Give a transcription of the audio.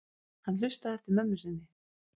Hann hlustaði eftir mömmu sinni.